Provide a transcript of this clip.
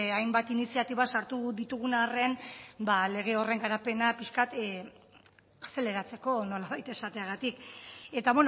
hainbat iniziatiba sartu ditugun arren lege horren garapena pixka bat azeleratzeko nolabait esateagatik eta